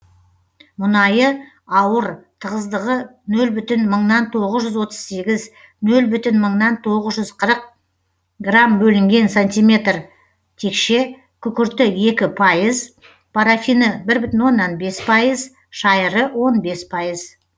мұнайы ауыр тығыздығы нөл бүтін мыңнан тоғыз жүз отыз сегіз нөл бүтін мыңнан тоғыз жүз қырық грамм бөлінген сантиметр текше күкірті екі пайыз парафині бір бүтін оннан бес пайыз шайыры он бес пайыз